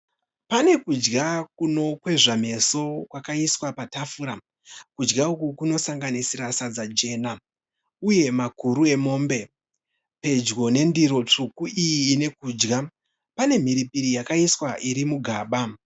Pane kudya kunokwezva meso kwakaiswa patafura. Kudya uku kunosanganisira sadza jena uye makuru emombe. Pedyo nendiro tsvuku iyi ine kudya pane mhiripiri yakaiswa iri mugaba.